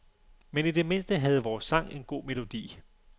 Men i det mindste havde vores sang en god melodi.